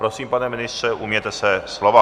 Prosím, pane ministře, ujměte se slova.